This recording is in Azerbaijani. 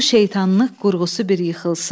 Bu şeytanlıq qurğusu bir yıxılsın.